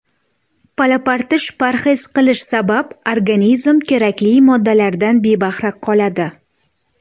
Palapartish parhez qilish sabab organizm kerakli moddalardan bebahra qoladi.